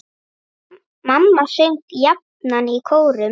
Mamma söng jafnan í kórum.